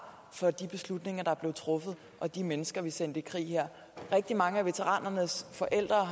for de beslutninger er blevet truffet og de mennesker vi sendte i krig her rigtig mange af veteranernes forældre